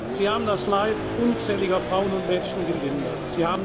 Sie haben das Leid unzähliger Frauen und Mädchen gelindert.